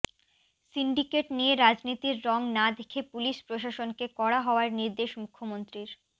syndicate নিয়ে রাজনীতির রং না দেখে পুলিস প্রশাসনকে কড়া হওয়ার নির্দেশ মুখ্যমন্ত্রীর